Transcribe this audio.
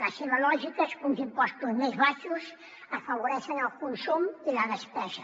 la seva lògica és que uns impostos més baixos afavoreixen el consum i la despesa